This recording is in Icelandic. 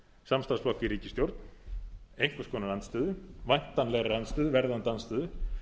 samstarfsflokk í ríkisstjórn einhvers konar andstöðu væntanlegri andstöðu verðandi andstöðu